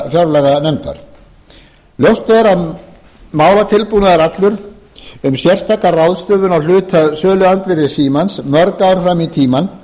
fjárlaganefndar ljóst er að málatilbúnaður allur um sérstaka ráðstöfun á hluta á söluandvirði landssíma íslands mörg ár fram í tímann